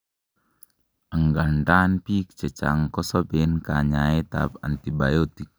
angandan, biik chechang kosoben kanyaet ab antibiotic